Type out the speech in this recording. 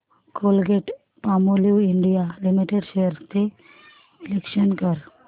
Colgate Palmolive India limited shares चे विश्लेषण कर